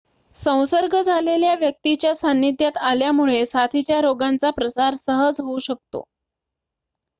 संसर्ग झालेल्या व्यक्तीच्या सान्निध्यात आल्यामुळे साथीच्या रोगांचा प्रसार सहज होऊ शकतो